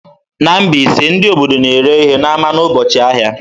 Na Mbaise, ndị obodo na-ere ihe n'ámá n'ụbọchị ahịa.